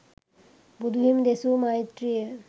බුදුහිමි දෙසු මෛත්‍රිය